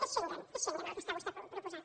és schengen és schengen el que està vostè proposant